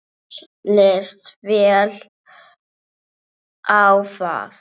Mér líst vel á það.